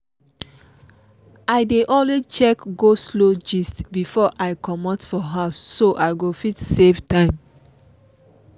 i dey always check go-slow gist before i comot for house so i go fit save time.